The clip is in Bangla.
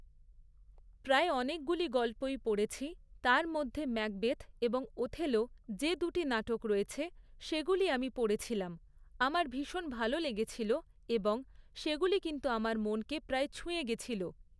প্রায় অনেকগুলি গল্পই পড়েছি, তার মধ্যে 'ম্যাকবেথ' এবং 'ওথেলো' যে দুটি নাটক রয়েছে, সেগুলি আমি পড়েছিলাম, আমার ভীষণ ভালো লেগেছিল এবং সেগুলি কিন্তু আমার মনকে প্রায় ছুঁয়ে গেছিল।